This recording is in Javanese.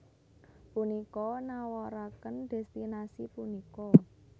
Punika nawaraken destinasi punika